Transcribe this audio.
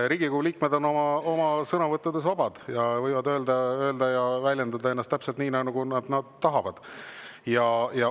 Riigikogu liikmed on oma sõnavõttudes vabad ja võivad end väljendada täpselt nii, nagu nad tahavad.